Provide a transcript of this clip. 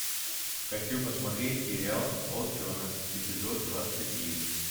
хочу посмотреть сериал волчонок эпизод двадцать девять